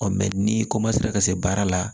ni ka se baara la